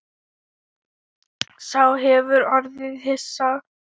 Sá hefur orðið hissa